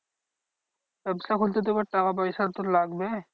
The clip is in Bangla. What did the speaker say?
ব্যাবসা খুলতে তো এবার টাকা পয়সা তো লাগবে